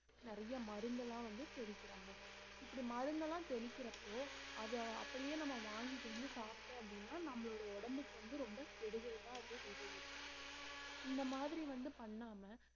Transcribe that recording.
நிறைய மருந்தெல்லாம் வந்து தெள்ளிக்கரங்க இப்படி மருந்தெல்லாம் தெளிக்கிறப்போ அத அப்படியே நம்ம வாங்கிட்டு வந்து சாப்பிட்டோம் அப்படின்னா நம்மளோட உடம்புக்கு வந்து ரொம்ப கெடுதல்தான் அது விளைவிக்கும் இந்த மாதிரி வந்து பண்ணாம